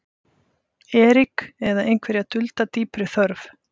Erik eða einhverja dulda dýpri þörf.